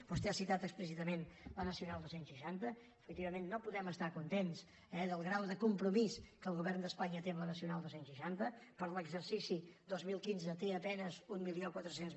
vostè ha citat explícitament la nacional dos cents i seixanta efectivament no podem estar contents del grau de compromís que el govern d’espanya té amb la nacional dos cents i seixanta per a l’exercici dos mil quinze hi té a penes mil quatre cents